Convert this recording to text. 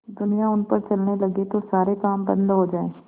दुनिया उन पर चलने लगे तो सारे काम बन्द हो जाएँ